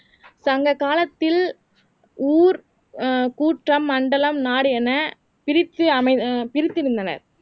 சங்க காலத்தில் ஊர் ஆஹ் கூட்டம் மண்டலம் நாடு என பிரிச்சு அமைத பிரித்திருந்தனர்